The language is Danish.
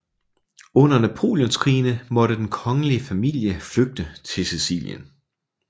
Under Napoleonskrigene måtte den kongelige familie flygte til Sicilien